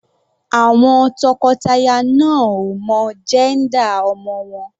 Àwọn tọkọtaya náà ò mọ jẹ́ńdà ọmọ wọn.